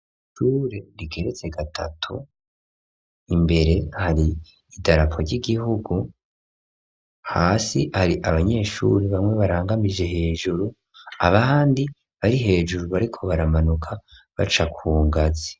Ishure rigeretse gatatu imbere hari i Darapo ry'Igihugu hasi hari abanyeshuri bamwe barangamije hejuru abandi bari hejuru bariko baramanuka baca ku ngazi.